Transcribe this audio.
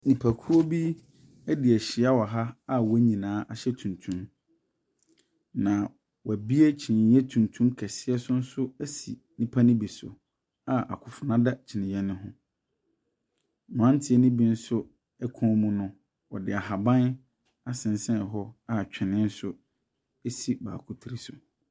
Nnipako bi adi ahyia wɔ ha a wɔn nyinaa ahyɛ tuntum. Na wɔabue kyiniiɛ kɛseɛ so asi nnipa no bi so a akofena da kyiniiɛ no ho. Mmranteɛ no bi nso kɔn mu no, wɔde ahaban asensɛn hɔ a twene nso si baako tiri so.